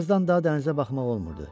Birazdan da dənizə baxmaq olmurdu.